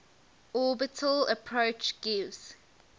orbital approach gives